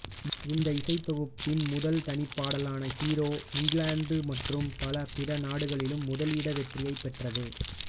இந்த இசைத்தொகுப்பின் முதல் தனிப்பாடலான ஹீரோ இங்கிலாந்து மற்றும் பல பிற நாடுகளிலும் முதலிட வெற்றியைப் பெற்றது